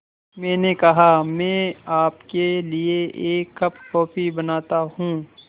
मैंने कहा मैं आपके लिए एक कप कॉफ़ी बनाता हूँ